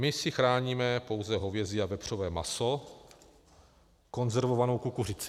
My si chráníme pouze hovězí a vepřové maso, konzervovanou kukuřici.